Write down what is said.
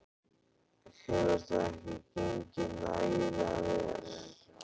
Hefur það ekki gengið nægilega vel?